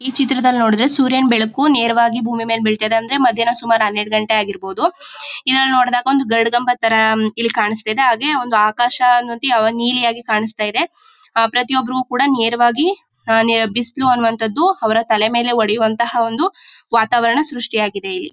ಈ ಚಿತ್ರದಲ್ಲಿ ನೋಡಿದ್ರೆ ಸೂರ್ಯನ್ ಬೆಳಕು ನೇರವಾಗಿ ಭೂಮಿ ಮೇಲೆ ಬೀಳ್ತಾ ಇದೆ ಅಂದ್ರೆ ಮದ್ಯಾನ ಸುಮಾರ್ ಹನ್ನೆರಡು ಗಂಟೆ ಆಗಿರ್ಬಹುದು ಇದ್ರಲ್ ನೋಡಿದಾಗ ಒಂದ್ ಗರಾಡ್ ಗಂಬದ್ ತರ ಇಲ್ ಕಾಣಿಸ್ತಾ ಇದೆ ಒಂದೇ ಆಕಾಶ ನೀಲಿಯಾಗಿ ಕಾನಿಸ್ತಾಇದೆ ಪ್ರತಿಯೊಬ್ಬರಿಗೂ ಕೂಡ ನೇರವಾಗಿ ಬಿಸಿಲು ಅನ್ನುವಂಥದ್ದುಅವರ ತಲೆಯ ಮೇಲೆ ಹೊಡೆಯುವಂತಹ ಒಂದು ವಾತಾವರಣ ಸೃಷ್ಟಿಯಾಗಿದೆ ಇಲ್ಲಿ